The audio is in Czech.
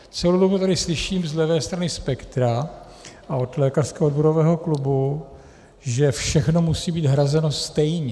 Celou dobu tady slyším z levé strany spektra a od lékařského odborového klubu, že všechno musí být hrazeno stejně.